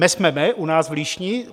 Me sme me u nás v Líšni.